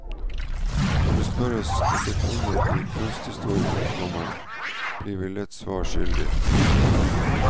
Når det spørres etter kvinner i kunsthistorien, komma blir vi lett svar skyldig. punktum